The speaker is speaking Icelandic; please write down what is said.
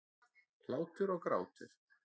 Hlátur og grátur.